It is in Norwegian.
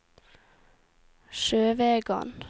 Sjøvegan